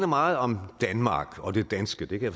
meget om danmark og det danske det kan